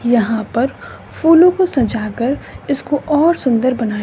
यहां पर फूलों को सजा कर इसको और सुंदर बनाया--